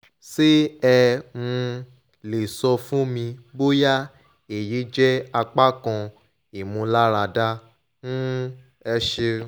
ṣé ẹ um lè sọ fún mi bóyá èyí jẹ́ apá kan ìmúniláradá? um ẹ ṣeun